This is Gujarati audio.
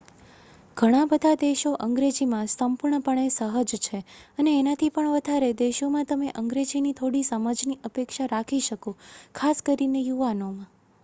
ઘણા બધા દેશો અંગ્રેજીમાં સંપૂર્ણપણે સહજ છે અને એનાથી પણ વધારે દેશોમાં તમે અંગ્રેજીની થોડી સમજની અપેક્ષા રાખી શકો ખાસ કરીને યુવાનોમાં